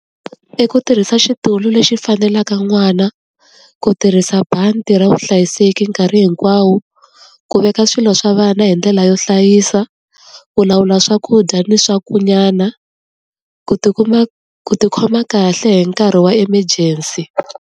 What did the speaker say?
I ku tirhisa xitulu lexi faneleke n'wana, ku tirhisa bandi ra vuhlayiseki nkarhi hinkwawo, ku veka swilo swa vana hi ndlela yo hlayisa, ku lawula swakudya ni , ku tikuma ku tikhoma kahle hi nkarhi wa emergency.